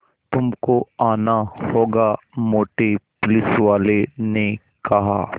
तुमको आना होगा मोटे पुलिसवाले ने कहा